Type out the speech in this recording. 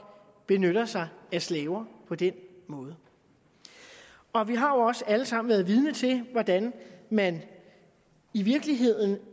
benytter sig af slaver på den måde og vi har jo også alle sammen været vidne til hvordan man i virkeligheden